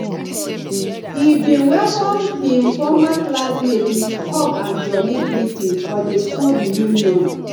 he bin welcome hin former classmates with hug and jooly greeting for di school reunion